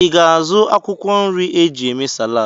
I ga-azụ akwụkwọ nri e ji eme Salad?